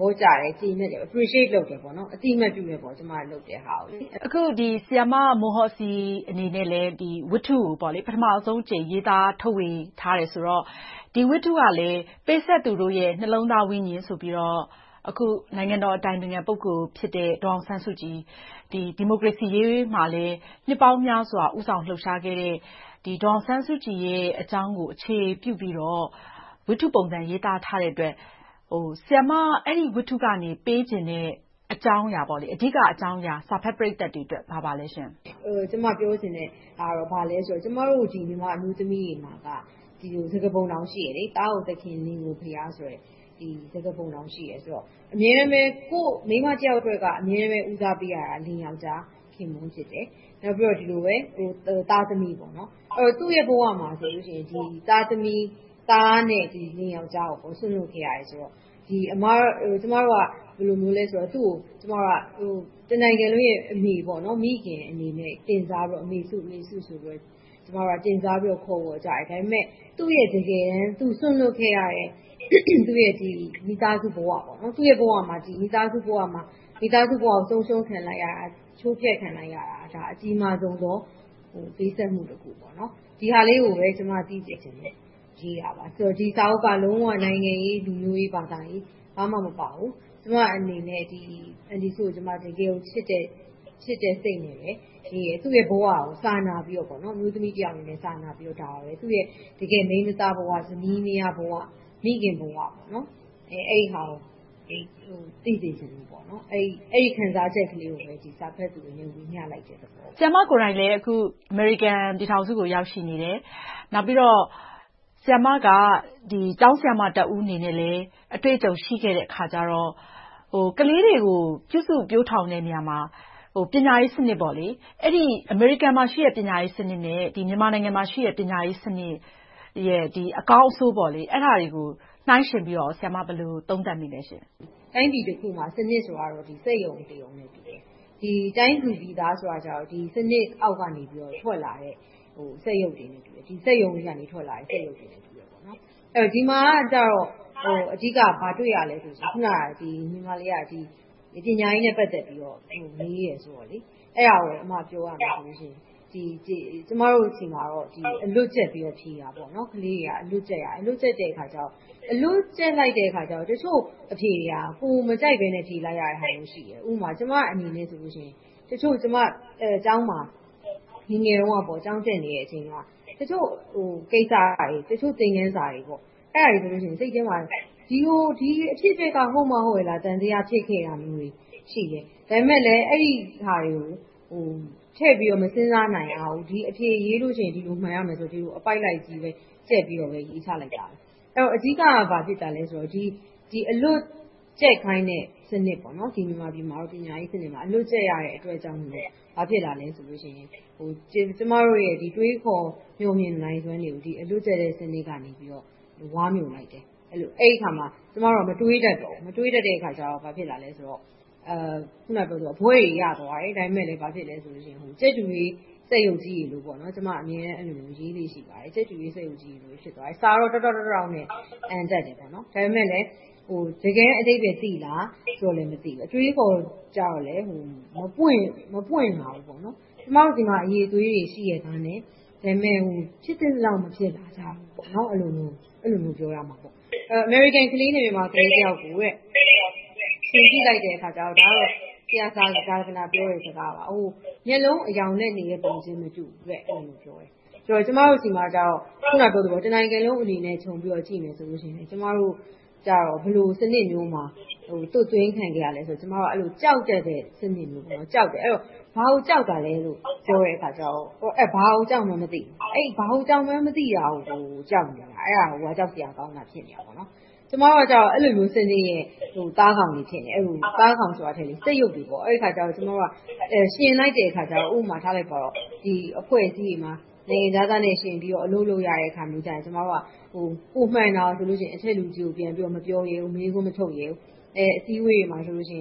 ဘောကျတယ်၊ ကျေနပ်တယ်။ Appreciate အသိအမှတ်ပြုကြတယ်။ အခု ဆရာမမွန်ဟော်စီအနေနဲ့ ဝထ္တုကို ပထမဦးဆုံးအကြိမ် ရေးသားထုတ်ဝေထားတယ်ဆိုတော့ ဒီဝထ္တုကလည်း ပေးဆပ်သူတို့ရဲ့ နှလုံးသားဝိညဉ်ဆိုတော့ အခု နိုင်ငံတော်၏ အတိုင်ပင်ခံ ပုဂ္ဂိုလ်ဖြစ်တဲ့ ဒီမိုကရေစီအရေးမှာ နှစ်ပေါင်းများစွာ ဦးဆောင်လှုပ်ရှားခဲ့တဲ့ ဒေါ်အောင်ဆန်းစုကြည်ရဲ့အကြောင်းကို အခြေခံပြီး ဝထ္တုပုံစံ ရေးသားထားတဲ့အတွက် ဆရာမ အဲဒီဝထ္တုကနေ ပေးချင်တဲ့ အဓိကအကြောင်းအရာ စာဖတ်ပရိသတ်တွေအတွက် ဘာပါလဲရှင့်။ ကျမ ပြောချင်တဲ့ဟာက ဘာလဲဆိုတော့ ကျမတို့ မြန်မာအမျိုးသမီးတွေမှာ စကားပုံတောင် ရှိတယ် - သားကိုသခင်၊ လင်ကိုဘုရားဆိုတဲ့ စကားပုံတောင် ရှိတယ်ဆိုတော့ အမြဲတမ်းပဲ မိန်းမတယောက်အတွက်က အမြဲဦးစားပေးရတာက လင်ယောကျ်ား ခင်ပွန်းဖြစ်တယ်။ နောက်ပြီးတော့ သားသမီး။ အဲဒီတော့ သူ့ရဲ့ဘဝမှာ သားသမီး - သားနဲ့လင်ယောကျ်ားကို စွန့်လွှတ်ခဲ့ရတယ်ဆိုတော့ ကျမတို့က သူကို တနိုင်ငံလုံးရဲ့ အမေ၊ မိခင်အနေနဲ့ တင်စားပြီးတော့ အမေစု ဆိုပြီး တင်စားပြီးတော့ ခေါ်ဝေါ်ကြတယ်။ ဒါပေမဲ့ သူ့ရဲ့တကယ်တမ်း စွန့်လွှတ်ခဲ့ရတဲ့ မိသားစုဘဝ၊ သူ့ရဲ့ မိသားစုဘဝကို ဆုံးရှုံးခံလိုက်ရတာ ချိုးဖျက်ခံလိုက်ရတာ အကြီးမားဆုံးသော ပေးဆပ်မှုတခု။ ဒီဟာလေးကိုပဲ သိစေချင်လို့ ရေးတာပါ။ ဒီစာအုပ်က လုံးဝ နိုင်ငံရေး၊ လူမှုရေး၊ ဘာသာရေး ဘာမှမပါဘူး။ ကျအနေနဲ့ အန်တီစုကို တကယ်ကို ချစ်တဲ့စိတ်နဲ့ပဲ ရေးတယ်။ သူ့ရဲ့ဘဝကို စာနာပြီးတော့ အမျိုးသမီးတယောက်အနေနဲ့၊ သူ့ရဲ့ မိန်းမသားဘဝ၊ ဇနီးမယားဘဝ၊ မိခင်ဘဝ အဲဒီဟာတွေကို သိစေချင်လို့၊ အဲဒီ ခံစားချက်ကိုပဲ စာဖတ်သူတွေကို ဝေမျှလိုက်တဲ့သဘောပါ။ ဆရာမကိုယ်တိုင်လဲ အခု အမေရိကန်ပြည်ထောင်စုကို ရောက်ရှိနေတယ်။ နောက်ပြီးတော့ ဆရာမက ကျောင်းဆရာမတဦးအနေနဲ့လဲ အတွေ့အကြုံရှိခဲ့တဲ့အခါကြောင့် ကလေးတွေကို ပြုစုပျိုထောင်တဲ့နေရာမှာ ပညာရေးစနစ် - အမေရိကန်မှာရှိတဲ့ ပညာရေးစနစ်နဲ့ မြန်မာနိုင်ငံမှာရှိတဲ့ ပညာရေးစနစ်ရဲ့ အကောင်းအဆိုး၊ အဲဒါတွေကို နှိုင်းယှဉ်ပြီးတော့ ဆရာမ ဘယ်လို သုံးသပ်မိလဲရှင့်။ တိုင်းပြည်တခုမှာ စနစ်ဆိုတာ စက်ရုံတရုံနဲ့တူတယ်။ တိုင်းသူပြည်သားဆိုတာက စနစ်တခုအောက်ကနေ ထွက်လာတဲ့ စက်ရုပ်တွေနဲ့ တူတယ်။ ဒီမှာကြတော့ ဘာတွေလဲဆိုတော့ ပညာရေးနဲ့ ပတ်သက်ပြီး မေးတယ်ဆိုတော့ အဲဒါကို ပြောရမယ်ဆိုရင် ကျမတို့ဆီမှာ အလွတ်ကျက်ပြီးတော့ ဖြေတာ၊ ကလေးတွေက အလွတ်ကျက်တဲ့အခါ တချို့အဖြေတွေက ကိုယ်မကြိုက်ဘဲနဲ့ ဖြေလိုက်ရတဲ့ဟာမျိုး ရှိတယ်။ ဥပမာ ကျမအနေနဲ့ တချို့ကျမကျောင်းမှာ ငယ်ငယ်တုန်းက ကျောင်းတက်နေတဲ့အချိန် တချို့ကိစ္စတွေ တချို့ သင်ခန်းစာတွေဆိုရင် စိတ်ထဲမှာ ဒီအဖြစ်အပျက်က ဟုတ်မှဟုတ်ရဲ့လား။ သံသယ ဖြစ်ခဲ့တာမျိုးတွေ ရှိတယ်။ ဒါပေမဲ့လဲ အဲဒီဟာတွေကို ထည့်ပြီးတော့ မစဉ်းစားနိုင်ရဘူး။ ဒီအဖြေရေးရင် ဒီလိုမှန်ရမယ်ဆိုတဲ့ အပိုဒ်လိုက်ကြီးပဲ ကျက်ပြီးတော့ ရေးချလိုတယ်။ အဓိက ဘာဖြစ်တာလဲဆိုတော့ အလွတ်ကျက်ခိုင်းတဲ့ စနစ်။ မြန်မာပြည်မှာတော့ ပညာရေးစနစ်မှာ အလွတ်ကျက်ရတာကြောင့် ဘာဖြစ်လာလဲဆိုရင် ကျမတို့ရဲ့ တွေးခေါ်မျှော်မြင်နိုင်စွမ်းတွေကို အလွတ်ကျက်တဲ့ စနစ်ကနေ ဝါးမြိုလိုက်တယ်။ အဲဒီအခါမှာ ကျမတို့က မတွေးခေါ်တတ်တော့ဘူး။ မတွေးတတ်တဲ့အခါ ဘာဖြစ်လဲဆိုတော့ ဘွဲ့တွေရသွားတယ်။ ဒါပေမဲ့လဲ ကြက်တူးရွေး စက်ရုပ်ကြီးတွေလို ကျမ အဲဒီလိုမျိုး ရေးလေ့ရှိပါတယ်။ စာကတော့ တောက်တောက် တောက်တောက်နဲ့ အံတတ်တယ်။ ဒါပေမဲ့လဲ တကယ်တမ်း အဓိပ္ပါယ်သိလားဆိုတော့ မသိဘူး။ အတွေးအခေါ်ကြတော့လဲ မပွင့်လာဘူး။ ကျမတို့ဆီမှာ အရည်အသွေးတွေ ရှိရဲ့သားနဲ့ ဒါပေမဲ့ ဖြစ်သင့်သလောက် မဖြစ်လာဘူး။ အဲဒီလိုမျိုး ပြောရမှာပေါ့။ အမေရိကန်ကလေးတယောက်နဲ့ မြန်မာကလေးတယောက်ကို ယှဉ်ကြည့်လိုက်တဲ့အခါကြတော့ ဆရာဇာဂနာ ပြောတဲ့စကားပါ။ မျက်လုံးအရောင်လက်နေတဲ့ ပုံစံချင်းမတူးဘူး။ အဲဒီလိုမျိုး ပြောတယ်။ ကျမတို့ဆီမှာတော့ တနိုင်ငံလုံးအနေနဲ့ ခြုံပြီးတော့ ကြည့်မယ်ဆိုရင် ကျမတို့ကြတော့ ဘယ်လိုစနစ်မျိုးမှာ သွတ်သွင်းခံရလဲဆိုရင် ကြောက်တတ်တဲ့ စနစ်မျိုး - ဘာကိုကြောက်တာလဲဆိုတော့ ဘာကိုကြောက်မှန်းမသိဘူး။ ဘာကိုကြောက်မှန်းမသိတာကို ကြောက်နေတာ။ အဲဒါကိုက ကြောက်စရာကောင်းတာ ဖြစ်နေတာ။ ကျမတို့ကြတော့ အဲဒီလိုမျိုး စနစ်ရဲ့ သားကောင်တွေ ဖြစ်နေတယ်။ သားကောင်ဆိုတာထက် စက်ရုပ်တွေ။ ယှဉ်လိုက်တဲ့အခါကြတော့ ဥပမာ အဖွဲ့အစည်းတွေမှာ နိုင်ငံခြားသားနဲ့ ယှဉ်ပြီးတော့ အလုပ်လုပ်ရတဲ့အခါမျိုးမှာ ကျမတို့က ပိုမှန်တာဆိုရင် အထက်လူကြီးကို ပြန်ပြီးတော့ မပြောရဲဘူး။ မေးခွန်းမထုတ်ရဲဘူး။ အစည်းအဝေးတွေမှာ ငြိမ်နေ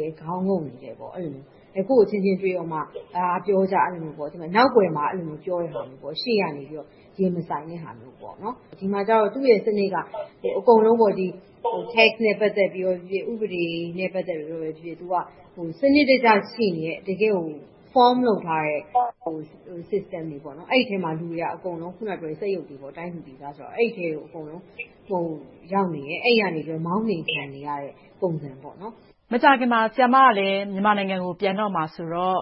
တယ်။ ခေါင်းငုံနေတယ်။ အဲဒီလိုမျိုး။ ကိုယ့်အချင်းချင်းတွေ့တော့မှာ ပြောကြဆိုကြ။ နောက်ကွယ်မှာ ပြောတဲ့ဟာမျိုး။ ရှေ့ကနေ ရင်မဆိုင်တဲ့ဟာပေါ့။ ဒီမှာကြတော့ သူ့ရဲ့စနစ်က အကုန်လုံး Tax နဲ့ ပတ်သက်တာပြောပြော၊ ဥပဒေနဲ့ ပတ်သက်ပြီးပြောပြော စနစ်တကျ ရှိနေတဲ့ တကယ့်ကို founded လုပ်ထားတဲ့ System တွေပေါ့။ အဲဒီအထဲမှာ လူတွေက အကုန်လုံး စက်ရုပ်တွေ တိုင်းသူပြည်သားဆိုတော့ အဲဒီအထဲကို အကုန်လုံး ရောက်နေတယ်။ မောင်းနှင်ခံနေရတဲ့ ပုံစံပေ့ါ။ မကြာခင်မှာ ဆရာမက မြန်မာနိုင်ငံကို ပြန်တော့မှာဆိုတော့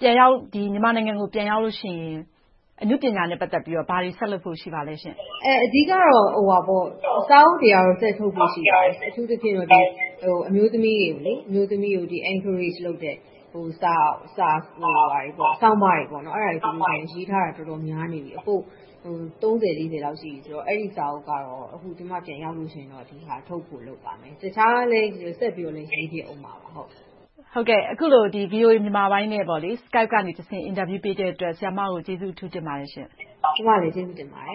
မြန်မာနိုင်ငံကို ပြန်ရောက်လို့ရှိရင် အနုပညာနဲ့ ပတ်သက်လို့ ဘာတွေဆက်လုပ်ဖို့ ရှိပါလဲရှင့်။ အဓိကတော့ စာအုပ်တွေကတော့ ဆက်ထုတ်ဖို့ ရှိပါတယ်။ အထူးသဖြင့်တော့ အမျိုးသမီးတွေကို Encourage လုပ်တဲ့ စာတွေ၊ ဆောင်းပါးတွေ ရေးထားတာ တော်တော်များနေပြီ။ သုံးဆယ်လေးဆယ်လောက် ရှိပြီဆိုတော့ အဲဒီစာအုပ်ကတော့ ကျမ ပြန်ရောက်လို့ရှိရင် ထုတ်ဖို့လုပ်ပါတယ်။ တခြားလဲဆက်ပြီး ရေးဖြစ်မှာပါ။ အခုလို VOA မြန်မာပိုင်းနဲ့ Skype ကတဆင့် အင်တာဗျူးပေးတဲ့အတွက် ဆရာမကို ကျေးဇူးအထူးတင်ပါတယ်ရှင့်။ ကျမကလည်း ကျေးဇူးတင်ပါတယ်။